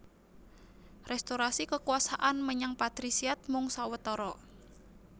Restorasi kekuasaan menyang patrisiat mung sawetara